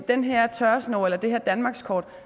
den her tørresnor eller det her danmarkskort